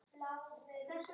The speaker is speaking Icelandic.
Maggi kom nú og kynnti.